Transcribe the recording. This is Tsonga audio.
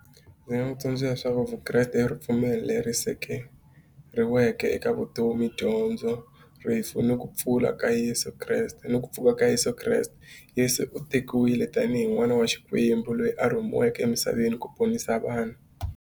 Ndzi nga n'wi tsundzuxa leswaku vukreste i ripfumelo leri sekeriweke eka vutomi dyondzo rifu ni ku pfula ka Yeso Kreste ni ku pfuka ka Yeso Kreste. Yeso u tekiwile tanihi n'wana wa Xikwembu loyi a rhumiweke emisaveni ku ponisa vanhu.